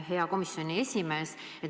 Hea komisjoni esimees!